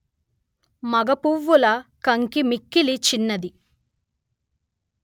మగ పువ్వుల కంకి మిక్కిలి చిన్నది